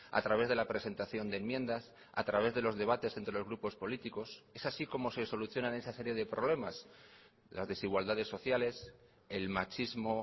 a través de la presentación de enmiendas a través de los debates entre los grupos políticos es así como se solucionan esa serie de problemas las desigualdades sociales el machismo